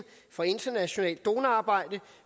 for internationalt donorarbejde